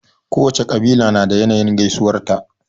Kowacce ƙabila na da yanayin gaisuwar ta.